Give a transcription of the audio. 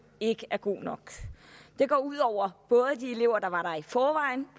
ikke er god nok det går ud over både de elever der var der i forvejen